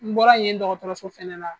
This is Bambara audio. N bɔra yen dɔgɔtɔso fɛnɛ na.